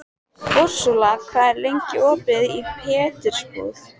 Úrsúla, hvað er lengi opið í Pétursbúð?